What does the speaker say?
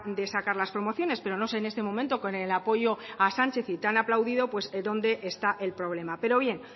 de sacar las promociones pero no sé en este momento con el apoyo a sánchez y tan aplaudido pues dónde está el problema pero bien